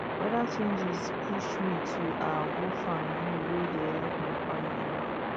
weather changes push me to um go farm bee wey dey help my family now